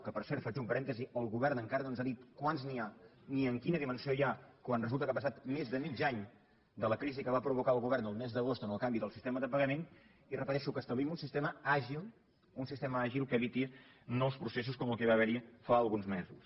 que per cert faig un parèntesi el govern encara no ens ha dit quants n’hi ha ni en quina dimensió n’hi ha quan resulta que ha passat més de mig any de la crisi que va provocar el govern el mes d’agost amb el canvi del sistema de pagament i ho repeteixo que establim un sistema àgil que eviti nous processos com el que va haver hi fa alguns mesos